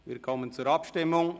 Wir kommen zur Abstimmung.